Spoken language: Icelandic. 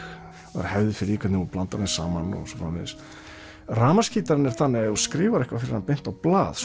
það er hefð fyrir því hvernig þú blandar þeim saman og svo framvegis rafmagnsgítarinn er þannig að ef þú skrifar eitthvað fyrir hann beint á blað